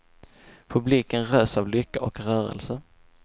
Publiken rös av lycka och rörelse.